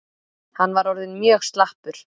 Hann var orðinn mjög slappur.